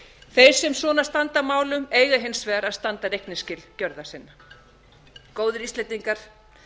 þeir sem svona standa að málum eiga hins vegar að standa reikningsskil gjörða sinna góðir íslendingar